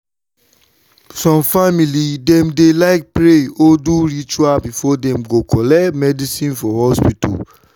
some family dem dey like pray or do ritual before dem go collect medicine for hospital.